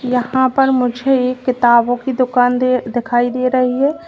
यहां पर मुझे एक किताबों की दुकान दे दिखाई दे रही है।